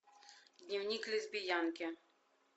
дневник лесбиянки